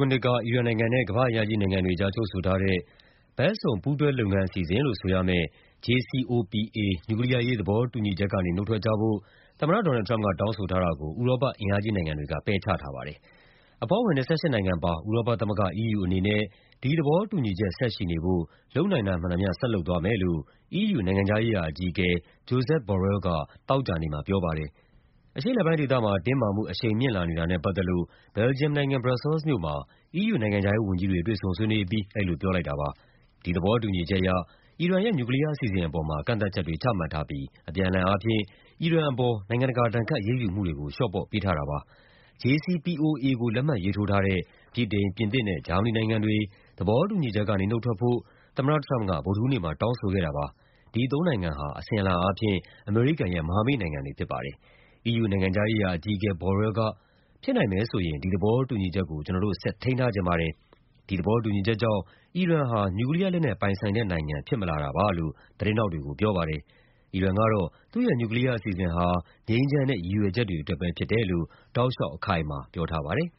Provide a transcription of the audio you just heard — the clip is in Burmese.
ုနှစ်က အီရန်နိုင်ငံနဲ့ ကမ္ဘာ့အင်အားကြီး နိုင်ငံတွေကြား ချုပ်ဆိုထားတဲ့ ဘက်စုံ ပူးတွဲလုပ်ငန်း အစီအစဉ်လို့ ဆိုရမယ့် JCPOA နျူကလီးယားအရေး သဘောတူညီချက်ကနေ နုတ်ထွက်ကြဖို့ သမ္မတ Donald Trump က တောင်းဆိုထားတာကို ဥရောပ အင်အားကြီးနိုင်ငံတွေက ပယ်ချထားပါတယ်။ အဖွဲ့ဝင် ၂၈ နိုင်ငံပါ ဥရောပသမဂ္ဂ (EU) အနေနဲ့ ဒီသဘောတူညီချက် ဆက်ရှိနေဖို့ လုပ်နိုင်တာမှန်သမျှ ဆက်လုပ်သွားမယ်လို့ EU နိုင်ငံခြားရေးရာ အကြီးအကဲ Josep Borrell က သောကြာနေ့မှာ ပြောပါတယ်။ အရှေ့အလယ်ပိုင်းဒေသမှာ တင်းမာမှုအရှိန် မြင့်လာနေတာနဲ့ ပတ်သက်လို့ ဘယ်လ်ဂျီယမ်နိုင်ငံ၊ ဘရပ်ဆဲလ်စ်မြို့မှာ EU နိုင်ငံခြားရေးဝန်ကြီးတွေ တွေ့ဆုံဆွေးနွေးအပြီး အဲဒီ လိုပြောလိုက်တာပါ။ ဒီသဘောတူညီချက်အရ အီရန်ရဲ့ နျူကလီးယား အစီအစဉ်အပေါ် ကန့်သတ်ချက်တွေ ချမှတ်ထားပြီး အပြန်အလှန်အားဖြင့် အီရန်ပေါ် နိုင်ငံတကာ ဒဏ်ခတ်အရေးယူမှုတွေကို လျှော့ပေးထားတာပါ။ JCPOA ကို လက်မှတ်ရေးထိုးထားတဲ့ ဗြိတိန်၊ ပြင်သစ်နဲ့ ဂျာမနီနိုင်ငံတွေ သဘောတူညီချက်ကနေ နုတ်ထွက်ဖို့ သမ္မတ Trump က ဗုဒ္ဓဟူးနေ့မှာ တောင်းဆိုခဲ့တာပါ။ ဒီသုံးနိုင်ငံဟာ အစဉ်အလာအားဖြင့် အမေရိကန်ရဲ့ မဟာမိတ်နိုင်ငံတွေ ဖြစ်ပါတယ်။ EU နိုင်ငံခြားရေးရာအကြီးအကဲ Borrell က “ဖြစ်နိုင်မယ်ဆိုရင် ဒီသဘောတူညီချက်ကို ကျနော်တို့ ဆက်ထိန်းထားချင်ပါတယ်။ ဒီသဘောတူညီချက်ကြောင့် အီရန်ဟာ နျူကလီးယားလက်နက် ပိုင်ဆိုင်တဲ့နိုင်ငံ ဖြစ်မလာတာပါ” လို့ သတင်းထောက်တွေကို ပြောပါတယ်။ အီရန်ကတော့ သူ့ရဲ့ နျူကလီးယား အစီအစဉ်ဟာ ငြိမ်းချမ်းတဲ့ ရည်ရွယ်ချက်တွေအတွက်ပဲ ဖြစ်တယ်လို့ တောက်လျှောက် အခိုင်အမာ ပြောထားပါတယ်